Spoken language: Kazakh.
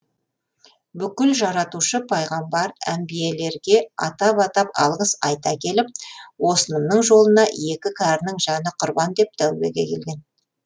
бүкіл жаратушы пайғамбар әмбиелерге атап атап алғыс айта келіп осынымның жолына екі кәрінің жаны құрбан деп тәубеге келген